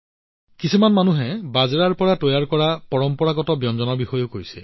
কিছুমান মানুহে বাজৰাৰ পৰা তৈয়াৰ কৰা পৰম্পৰাগত ব্যঞ্জনৰ বিষয়েও কথা পাতিছে